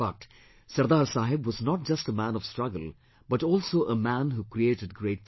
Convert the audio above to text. But, Sardar Saheb was not just a man of struggle but also a man who created great things